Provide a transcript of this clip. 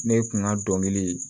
Ne kun ka dɔnkili